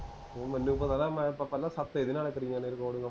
ਮੈਨੂੰ ਪਤਾ ਨਾ ਮੈਂ ਪਹਿਲਾਂ ਹਫਤਾ ਇਹਦੇ ਨਾਲ ਹੀ ਕਰੀਆਂ ਨੇ ਰਿਕਾਰਡਿੰਗਾ